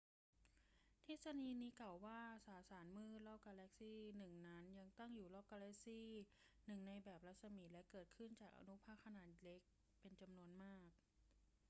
ทฤษฎีนี้กล่าวว่า สสารมืดรอบกาแล็กซี่หนึ่งนั้นตั้งอยู่รอบกาแล็กซี่หนึ่งในแบบรัศมี และเกิดขึ้นจากอนุภาคขนาดเล็กเป็นจำนวนมาก